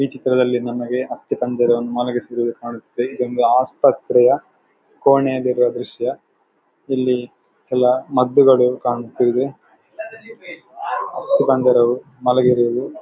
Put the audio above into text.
ಈ ಚಿತ್ರದಲ್ಲಿ ನಮಗೆ ಅಸ್ತಿಪಂಜರವನ್ನು ಮಲಗಿಸಿರುವುದು ಕಾಣುತ್ತಿದೆ ಇದು ಒಂದು ಆಸ್ಪತ್ರೆಯ ಕೋಣೆಯಲ್ಲಿರುವ ದೃಶ್ಯ ಇಲ್ಲಿ ಎಲ್ಲ ಮದ್ದುಗಳು ಕಾಣುತ್ತಿವೆ. ಅಸ್ತಿಪಂಜರವು ಮಲಗಿರುವುದು--